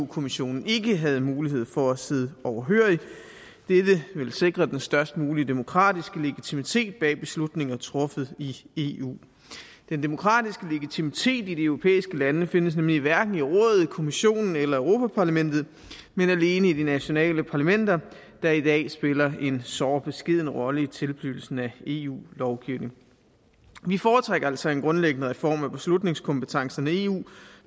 kommissionen ikke havde mulighed for at sidde overhørig dette ville sikre den størst mulige demokratiske legitimitet bag beslutninger truffet i i eu den demokratiske legitimitet i de europæiske lande findes nemlig hverken i rådet kommissionen eller europa parlamentet men alene i de nationale parlamenter der i dag spiller en såre beskeden rolle i tilblivelsen af eu lovgivning vi foretrækker altså en grundlæggende reform af beslutningskompetencerne i eu